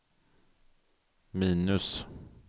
minus